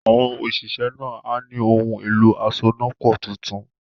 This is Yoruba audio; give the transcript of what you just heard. Àwọn òṣìṣẹ́ náà á ní “ohun-èlo asonápọ̀ tuntun